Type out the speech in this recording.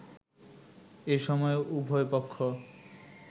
এ সময় উভয়পক্ষ